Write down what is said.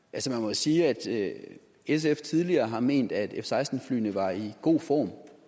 sige at sf tidligere har ment at f seksten flyene var i god form